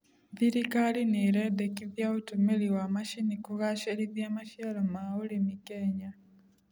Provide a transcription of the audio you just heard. Thirikari nĩĩredekithia ũtũmĩri wa macini kũgacĩrithia maciaro ma ũrĩmi Kenya